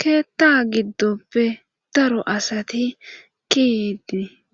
keetta giddoppe daro asati kid